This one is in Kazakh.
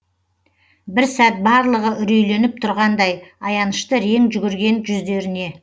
бір сәт барлығы үрейленіп тұрғандай аянышты рең жүгірген жүздеріне